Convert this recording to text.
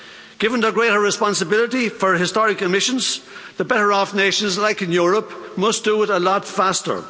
Given their greater responsibility for historic emissions, the better-off nations like in Europe must do it a lot faster.